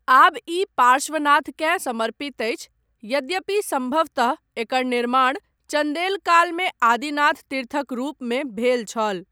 आब ई पार्श्वनाथकेँ समर्पित अछि, यद्यपि सम्भवतः एकर निर्माण चन्देल कालमे आदिनाथ तीर्थक रूपमे भेल छल।